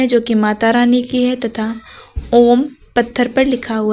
जो की माता रानी की है तथा ओम पत्थर पर लिखा हुआ--